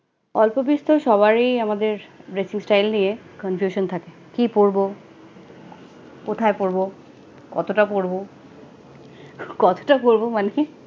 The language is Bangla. অল্পবিস্তর সবাই আমাদের dressing style নিয়ে confusion থাকে কি পড়বো, কোথায় পড়বো, কতটা পড়বো, কতটা পড়বো মানে